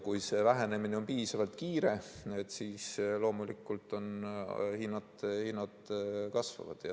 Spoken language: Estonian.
Kui see vähenemine on piisavalt kiire, siis loomulikult hinnad kasvavad.